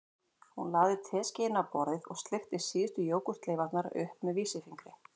Hún lagði teskeiðina á borðið og sleikti síðustu jógúrtleifarnar upp með vísifingri